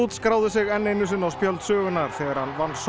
skráði sig enn einu sinni á spjöld sögunnar þegar hann vann